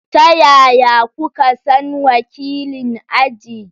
Ta yaya kuka san wakilin aji?